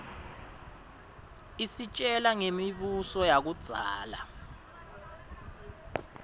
isitjela ngemi buso yakuiszala